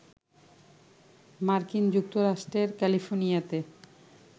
মার্কিন যুক্তরাষ্ট্রের ক্যালিফোর্নিয়াতে